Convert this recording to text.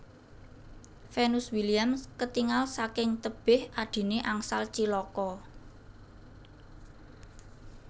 Venus Williams ketingal saking tebeh adhine angsal cilaka